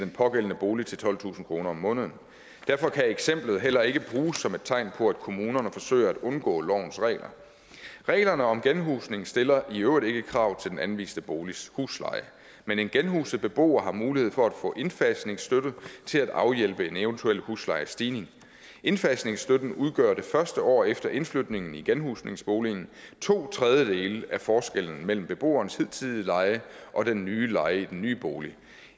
pågældende bolig til tolvtusind kroner om måneden derfor kan eksemplet heller ikke bruges som et tegn på at kommunerne forsøger at omgå lovens regler reglerne om genhusning stiller i øvrigt ikke krav til den anviste boligs husleje men en genhuset beboer har mulighed for at få indfasningsstøtte til at afhjælpe i en eventuel huslejestigning indfasningsstøtten udgør i det første år efter indflytningen i genhusningsboligen to tredjedele af forskellen mellem beboerens hidtidige leje og den nye leje i den nye bolig